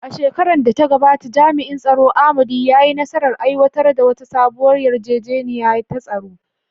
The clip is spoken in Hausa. A shekarar da ta gabata, jami’in tsaro Amadi, ya yi nasarar aiwatar da wata sabuwar yarjejeniya ta tsaro.